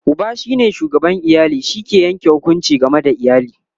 Uba shine shugaban iyali, shi ke Yanke hukunci game da iyali